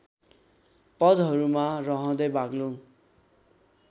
पदहरूमा रहँदै बाग्लुङ